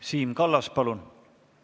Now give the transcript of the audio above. Siim Kallas, palun!